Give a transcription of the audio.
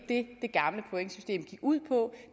det gamle pointsystem gik ud på